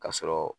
Ka sɔrɔ